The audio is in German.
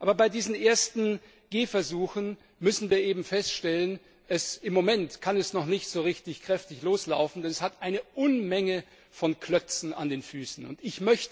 Aber bei diesen ersten Gehversuchen müssen wir eben feststellen, dass es im Moment noch nicht so richtig kräftig loslaufen kann. Es hat eine Unmenge von Klötzen an den Beinen.